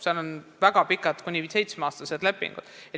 Seal on väga pikad, kuni seitsmeaastased lepingud.